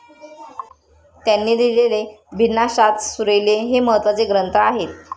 त्यांनी लिहिलेले 'भिन्नाशाद्ज' 'सुरीले' हे महत्वाचे ग्रंथ आहेत.